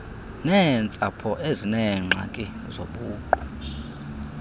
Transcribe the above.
neentsapho ezineengxaki zobuqu